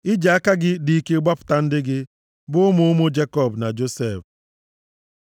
I ji aka gị dị ike gbapụta ndị gị, bụ ụmụ ụmụ Jekọb na Josef. Sela